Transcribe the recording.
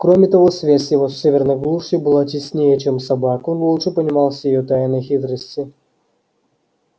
кроме того связь его с северной глушью была теснее чем собак он лучше понимал все её тайны и хитрости